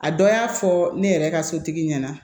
A dɔ y'a fɔ ne yɛrɛ ka sotigi ɲɛna